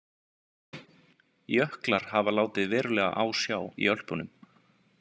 Jöklar hafa látið verulega á sjá í Ölpunum.